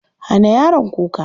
Hana yaron kuka.